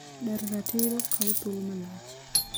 daro ratiro kawo thuolo malach